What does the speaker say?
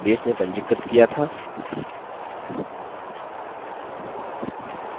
अब हम इसे लिबर ऑफिस writer या calc में इस्तेमाल कर सकते हैं